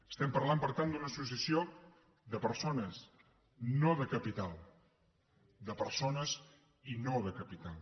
estem parlant per tant d’una associació de persones no de capital de persones i no de capital